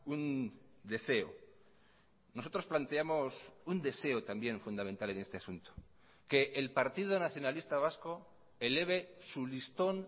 un deseo nosotros planteamos un deseo también fundamental en este asunto que el partido nacionalista vasco eleve su listón